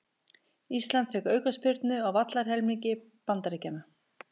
Ísland fékk aukaspyrnu á vallarhelmingi Bandaríkjanna